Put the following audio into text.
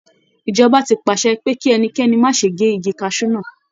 Ìjọba ti pàṣẹ pe kí ẹnikẹ́ni má ṣe gé igi kaṣú náà.